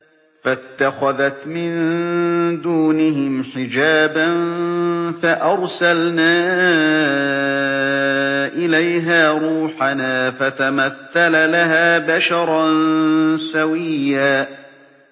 فَاتَّخَذَتْ مِن دُونِهِمْ حِجَابًا فَأَرْسَلْنَا إِلَيْهَا رُوحَنَا فَتَمَثَّلَ لَهَا بَشَرًا سَوِيًّا